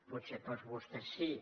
potser per vostès sí